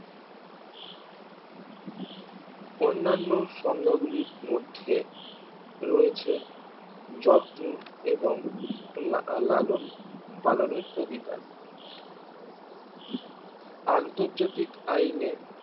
অন্যান্য সংজ্ঞাগুলির মধ্যে রয়েছে যত্ন এবং লালন পালনের অধিকার আন্তর্জাতিক আইনে